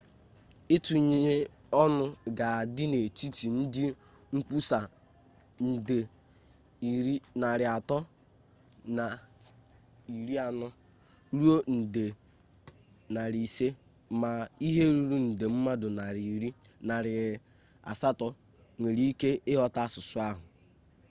itunye-onu ga adi n'etiti ndi nkwusa nde 340 ruo nde 500 ma ihe ruru nde mmadu 800 nwere ike ighota asusu ahu